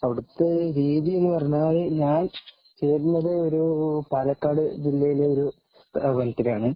അവിടത്തെ രീതിയെന്നു പറഞ്ഞാല്‍ ഞാന്‍ ചേര്‍ന്നത് ഒരു പാലക്കാട് ജില്ലയിലെ ഒരു സ്ഥാപനത്തിലാണ്.